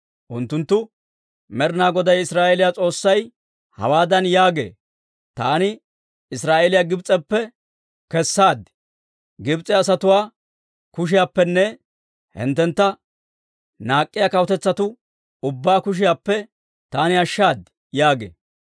Unttuntta, «Med'inaa Goday, Israa'eeliyaa S'oossay hawaadan yaagee; ‹Taani Israa'eeliyaa Gibs'eppe kessaad; Gibs'e asatuwaa kushiyaappenne hinttentta naak'k'iyaa kawutetsatuu ubbaa kushiyaappe taani ashshaad› yaagee.